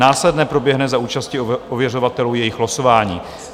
Následně proběhne za účasti ověřovatelů jejich losování.